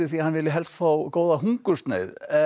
hann vilji helst fá góða hungursneyð